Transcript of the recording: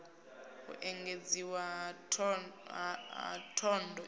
u engedziwa ha thondo idzi